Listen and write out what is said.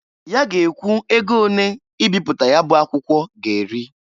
Ya ga ekwu ego onee ibipụta ya bụ akwụkwọ ga-eri.